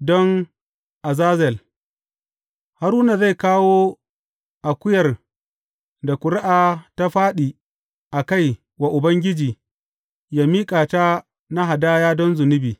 don azazel Haruna zai kawo akuyar da ƙuri’a ta fāɗi a kai wa Ubangiji yă miƙa ta na hadaya don zunubi.